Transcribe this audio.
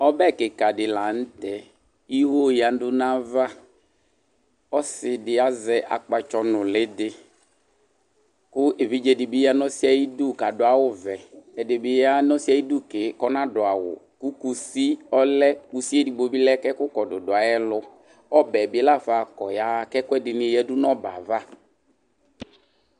Ɔbɛ kɩka dɩ la nʋ tɛ ; iwo yǝdu nava Ɔsɩ dɩ azɛ akpatsɔ nʋlɩ dɩ,kʋ evidze dɩ bɩ ya nʋ ɔsɩɛ ayidu kadʋ awʋ vɛ, ɛdɩ bɩ ya n' ɔsɩɛ ayidu ke kʋ ɔnadʋ awʋKusi ɔlɛ, kusi edigbo bɩ lɛ kɛkʋ kɔdʋ dʋ ayɛlʋƆbɛ bɩ lafa kɔ yaɣa kɛkʋɛdɩnɩ yǝdu n ' ɔbɛ ava